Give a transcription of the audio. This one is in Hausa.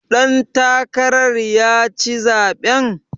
Ɗan takarar ka ya ci zaɓen.